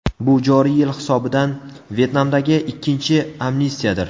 Bu joriy yil hisobidan Vyetnamdagi ikkinchi amnistiyadir.